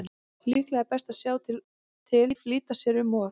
Líklega er best að sjá til, flýta sér ekki um of.